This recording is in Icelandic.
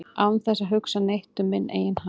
án þess að hugsa neitt um minn eigin hag